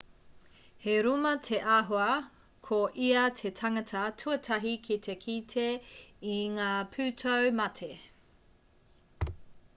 he rūma te āhua ko ia te tangata tuatahi ki te kite i ngā pūtau mate